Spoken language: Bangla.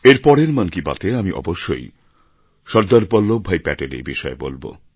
এর পরের মন কি বাত এ আমি অবশ্যই সর্দার বল্লভভাই প্যাটেলের বিষয়ে বলব